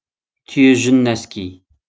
түйе жүн нәски